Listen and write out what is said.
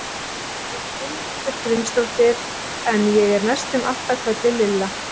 Ég heiti Gunnhildur Grímsdóttir en ég er næstum alltaf kölluð Lilla.